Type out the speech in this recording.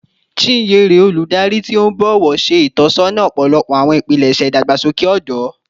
Chinyere, oludari ti o bọwọ, ṣe itọsọna ọpọlọpọ awọn ipilẹṣẹ idagbasoke ọdọ